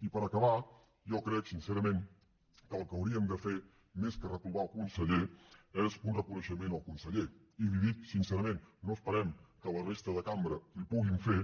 i per acabar jo crec sincerament que el que hauríem de fer més que reprovar el conseller és un reconeixement al conseller i li ho dic sincerament no esperem que la resta de la cambra l’hi puguin fer